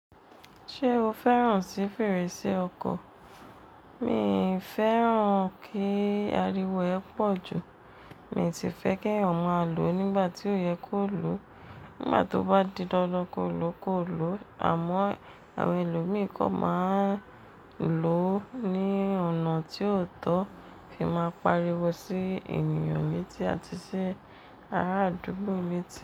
Ṣé o fẹ́ràn sí fèrèsé ọkọ̀? Mi fẹ́ràn kí ariwo ẹ pọ̀ ju, mi ti fẹ́ kẹ́yàn máa lò ó nígbà tí ó yẹ kó lò ó, nígbà tó bá di dandan kọ́lọ́ kọ́lò àmọ́ àwọn ẹlòmíìkọ́ máa ń lò ó ní ọ̀nà tí ó tọ́ ki máa pariwo sí ènìyàn leti àti sí ará àdúgbò mi ti.